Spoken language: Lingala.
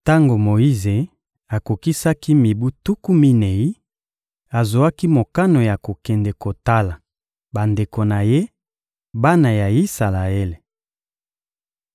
Tango Moyize akokisaki mibu tuku minei, azwaki mokano ya kokende kotala bandeko na ye, bana ya Isalaele.